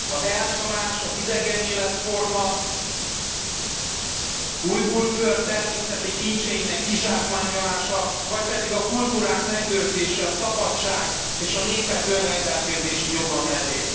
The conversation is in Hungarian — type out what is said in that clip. Az elnyomás, az idegen életforma, Ujgurföld természeti kincseinek kizsákmányolása, vagy pedig a kultúrák megőrzése, a szabadság és a népek önrendelkezési joga mellé?